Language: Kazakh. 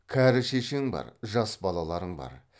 кәрі шешең бар жас балаларың бар